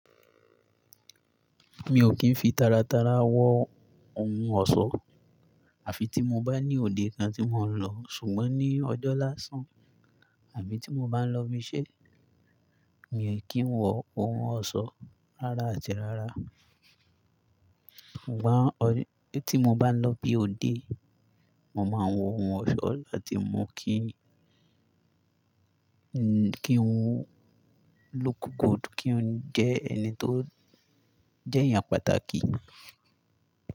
Mi ò kí ń fi taratara wọ ohun ọ̀ṣọ́, àfi tí mo bá ní òde kan tí mò ń lọ. Ṣùgbọ́n ní ọjọ́ láásán, àbí tí mo bá ń lọ b'iṣé, mi ò kí ń wọ ohun ọ̀ṣọ́ rárá àti rárá. Ṣùgbọ́n tí mo bá ń lọ bí ó dé, mo máa ń wọ ohun ọ̀ṣọ́ láti mú kí n kí n look good, kí n jẹ́ ẹni tó jẹ́ èèyàn pàtàkì.